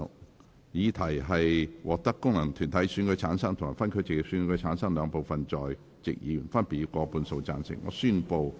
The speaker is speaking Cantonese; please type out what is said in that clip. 我認為議題獲得經由功能團體選舉產生及分區直接選舉產生的兩部分在席議員，分別以過半數贊成。